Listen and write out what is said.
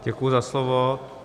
Děkuji za slovo.